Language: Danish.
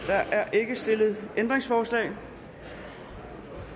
ikke stillet ændringsforslag